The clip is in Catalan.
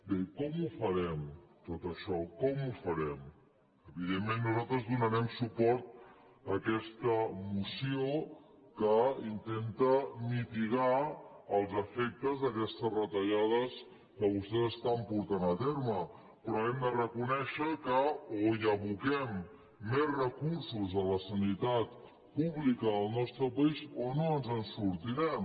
bé com ho farem tot això com ho farem evidentment nosaltres donarem suport a aquesta mo·ció que intenta mitigar els efectes d’aquestes reta·llades que vostès estan portant a terme però hem de reconèixer que o aboquem més recursos a la sanitat pública al nostre país o no ens en sortirem